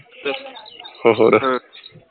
ਹੋਰ